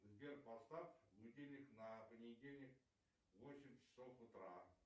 сбер поставь будильник на понедельник восемь часов утра